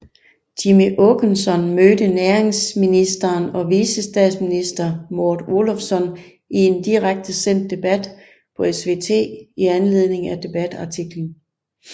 Jimmie Åkesson mødte næringsministeren og vicestatsminister Maud Olofsson i en direkte sendt debat på SVT i anledning af debatartiklen